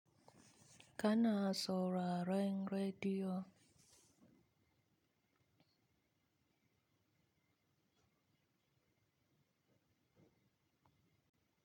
Kana sauraron rediyo.